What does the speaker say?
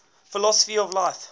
philosophy of life